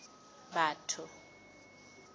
batho